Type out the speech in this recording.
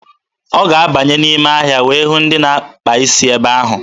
Ọ ga-abanye n'ime ahịa wee hụ ndị na-akpa isi ebe ahụ.